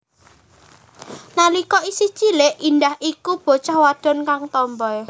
Nalika isih cilik Indah iku bocah wadon kang tomboi